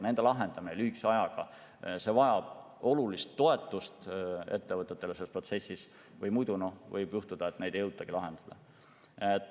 Nende lahendamine lühikese ajaga vajab olulist toetust ettevõtetele või muidu võib juhtuda, et neid ei jõutagi lahendada.